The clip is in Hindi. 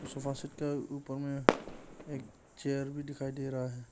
सोफा सेट का ऊपर में एक चेयर भी दिखाई दे रहा है।